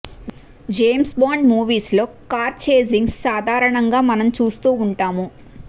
James Bond movies లో car chasings సాధారణంగా మనం చూస్తూ ఉంటాము